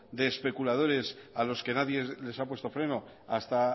de especuladores a los que nadie les ha puesto freno hasta